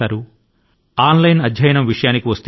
ఇప్పుడు online అభ్యాస కాలం వచ్చింది